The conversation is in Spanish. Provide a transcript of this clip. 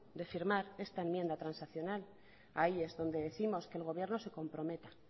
de firmar esta enmienda transaccional ahí es donde décimos que el gobierno se comprometa